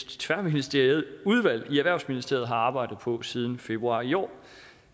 tværministerielt udvalg i erhvervsministeriet har arbejdet på siden februar i år